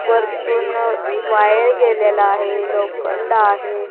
वरतून वायर गेलेलं आहे लोखंड आहे.